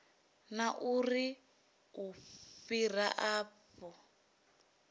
na uri u fhira afho